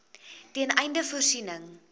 ten einde voorsiening